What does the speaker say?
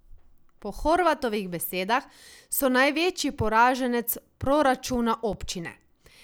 Po Horvatovih besedah so največji poraženec proračuna občine.